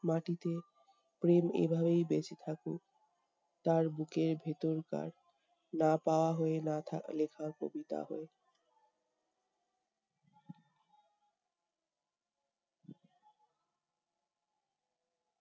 মাটিতে, প্রেম এভাবেই বেঁচে থাকুক- তার বুকের ভেতরকার না পাওয়া হয়ে, না থা~ লেখা কবিতা হয়ে।